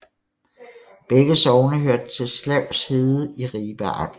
Begge sogne hørte til Slavs Herred i Ribe Amt